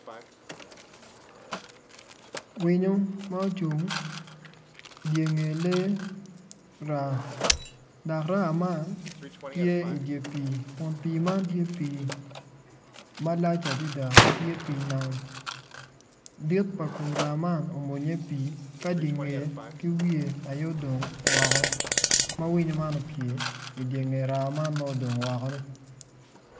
Winyo ma ocung idye nge lee raa dok raa man tye idye pii dok pii kun pii man tye pii malac adada ma tye pii nam dit pa kom raa man omwonyo i pii ka di ngeye ki wiye aye odong woko ma winyo man opye idye nge raa man ma odong wokoni.